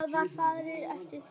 Það var farið eftir því.